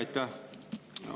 Aitäh!